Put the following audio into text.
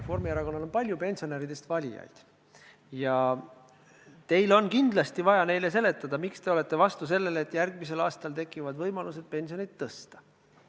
Reformierakonnal on palju pensionäridest valijaid ja teil on kindlasti vaja neile seletada, miks te olete vastu sellele, et järgmisel aastal tekivad võimalused pensionit tõsta.